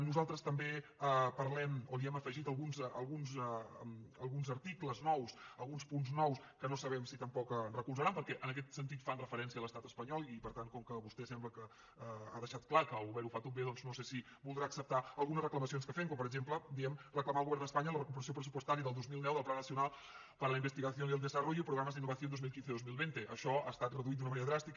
nosaltres també parlem o hi hem afegit alguns articles nous alguns punts nous que no sabem si tampoc recolzaran perquè en aquest sentit fan referència a l’estat espanyol i per tant com que vostè sembla que ha deixat clar que el govern ho fa tot bé doncs no sé si voldrà acceptar algunes reclamacions que fem com per exemple diem reclamar al govern d’espanya la recuperació pressupostària del dos mil deu del plan nacional para la investigación y el desarrollo y programas de innovación dos mil quinze dos mil vint això ha estat reduït d’una manera dràstica